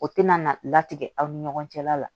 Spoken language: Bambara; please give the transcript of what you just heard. O tɛna na latigɛ aw ni ɲɔgɔn cɛla la